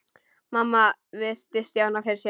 Mamma virti Stjána fyrir sér.